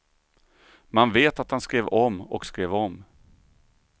Man vet att han skrev om och skrev om.